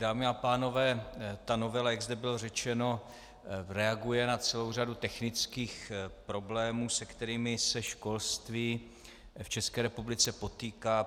Dámy a pánové, ta novela, jak zde bylo řečeno, reaguje na celou řadu technických problémů, se kterými se školství v České republice potýká.